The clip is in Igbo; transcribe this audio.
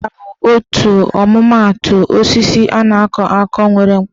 Ọka bụ otu ọmụmaatụ osisi a na-akọ akọ nwere mkpụrụ.